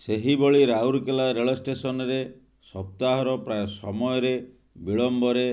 ସେହିଭଳି ରାଉରକେଲା ରେଳ ଷ୍ଟେସନରେ ସପ୍ତାହର ପ୍ରାୟ ସମୟରେ ବିଳମ୍ବରେ